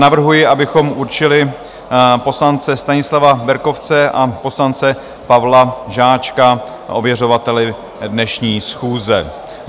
Navrhuji, abychom určili poslance Stanislava Berkovce a poslance Pavla Žáčka ověřovateli dnešní schůze.